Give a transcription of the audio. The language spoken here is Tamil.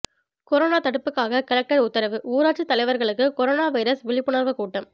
கொரோனா தடுப்புக்காக கலெக்டர் உத்தரவு ஊராட்சி தலைவர்களுக்கு கொரோனா வைரஸ் விழிப்புணர்வு கூட்டம்